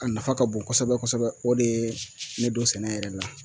A nafa ka bon kosɛbɛ kosɛbɛ o de ye ne don sɛnɛ yɛrɛ la